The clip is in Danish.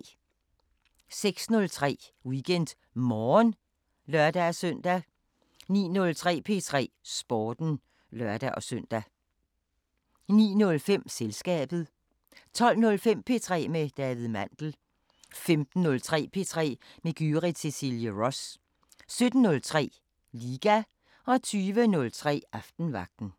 06:03: WeekendMorgen (lør-søn) 09:03: P3 Sporten (lør-søn) 09:05: Selskabet 12:05: P3 med David Mandel 15:03: P3 med Gyrith Cecilie Ross 17:03: Liga 20:03: Aftenvagten